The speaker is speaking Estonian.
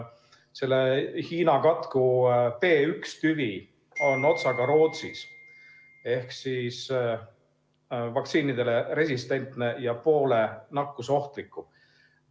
Selle Hiina katku B.1 tüvi on otsaga Rootsis ehk vaktsiinidele resistentne ja poole nakkusohtlikum.